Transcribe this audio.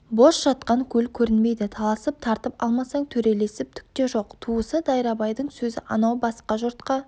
бос жатқан көл көрінбейді таласып тартып алмасаң төрелесіп түкте жоқ туысы дайрабайдың сөзі анау басқа жұртқа